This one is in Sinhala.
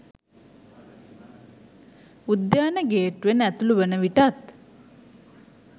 උද්‍යාන ගේට්ටුවෙන් ඇතුළු වන විටත්